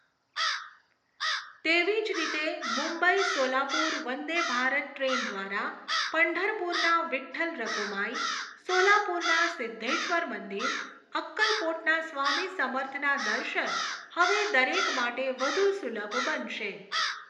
તેવી જ રીતે, મુંબઈ સોલાપુર વંદે ભારત ટ્રેન દ્વારા, પંઢરપુરના વિઠ્ઠલ રઘુમાઈ, સોલાપુરના સિદ્ધેશ્વર મંદિર, અક્કલકોટના સ્વામી સમર્થના દર્શન હવે દરેક માટે વધુ સુલભ બનશે.